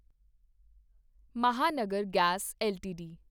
Mahanagar Gas LTD